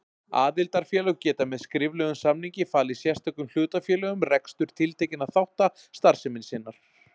Aðildarfélög geta með skriflegum samningi falið sérstökum hlutafélögum rekstur tiltekinna þátta starfsemi sinnar.